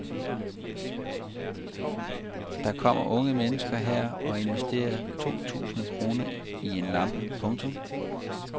Der kommer unge mennesker her og investerer to tusind kroner i en lampe. punktum